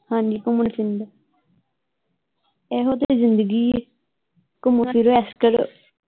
ਹਾਂਜੀ ਘੁੰਮਣ ਫਿਰਨ ਦਾ ਇਹੋ ਤੇ ਜਿੰਦਗੀ ਆ ਘੁੰਮੋ ਫਿਰੋ ਐਸ਼ ਕਰੋ।